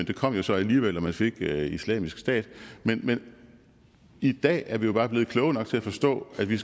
det kom jo så alligevel da man fik islamisk stat men i dag er vi jo bare blevet kloge nok til at forstå at vi